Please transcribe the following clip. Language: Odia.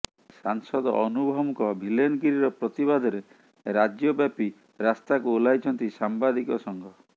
ସାଂସଦ ଅନୁଭବଙ୍କ ଭିଲେନ୍ଗିରିର ପ୍ରତିବାଦରେ ରାଜ୍ୟବାପୀ ରାସ୍ତାକୁ ଓହ୍ଲାଇଛନ୍ତି ସାମ୍ବାଦିକ ସଂଘ